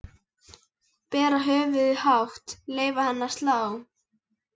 Bera höfuðið hátt, leyfa henni að slá.